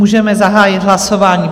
Můžeme zahájit hlasování.